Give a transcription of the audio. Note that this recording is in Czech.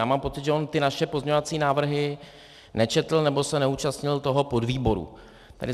Já mám pocit, že on ty naše pozměňovací návrhy nečetl, nebo se neúčastnil toho podvýboru.